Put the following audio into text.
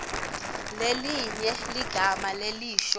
lelinye ligama lelisho